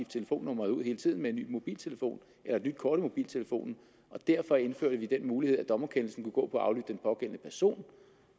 telefonnummeret ud hele tiden ved en ny mobiltelefon eller et nyt kort i mobiltelefonen og derfor indførte vi den mulighed at dommerkendelsen kunne gå på at aflytte den pågældende person